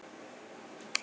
Hvað er hægt að segja.